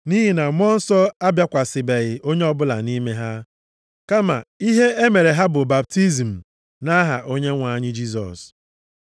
Nʼihi na Mmụọ Nsọ abịakwasịbeghị onye ọbụla nʼime ha, kama ihe e mere ha bụ baptizim nʼaha Onyenwe anyị Jisọs.